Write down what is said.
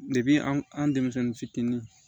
an an denmisɛnnin fitinin